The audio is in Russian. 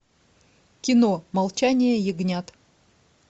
кино молчание ягнят